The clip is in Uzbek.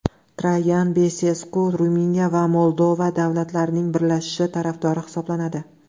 Trayan Besesku Ruminiya va Moldova davlatlarining birlashishi tarafdori hisoblanadi.